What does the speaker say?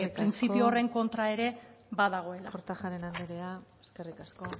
printzipio horren kontra ere badagoela kortajarena anderea eskerrik asko